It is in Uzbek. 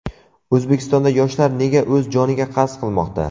O‘zbekistonda yoshlar nega o‘z joniga qasd qilmoqda?.